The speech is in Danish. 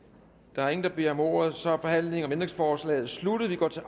der er ingen der beder om ordet så er forhandlingen om ændringsforslaget sluttet vi går til